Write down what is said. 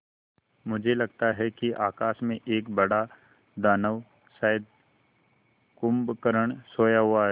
मुझे लगता है कि आकाश में एक बड़ा दानव शायद कुंभकर्ण सोया हुआ है